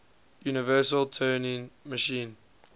universal turing machine